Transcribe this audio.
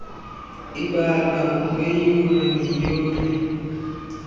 ibalwa ngokweyure neyure